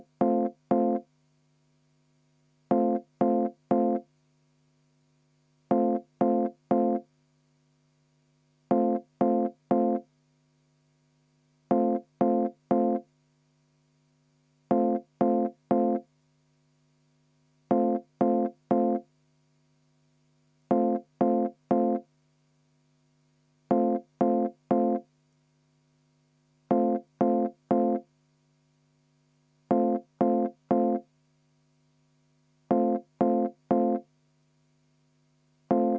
Palun ettepanekut hääletada ja palun enne seda ka EKRE fraktsiooni poolt 10 minutit vaheaega.